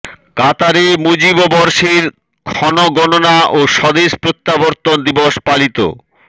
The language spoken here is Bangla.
কাতারে মুজিব বর্ষের ক্ষণগণনা ও স্বদেশ প্রত্যাবর্তন দিবস পালিত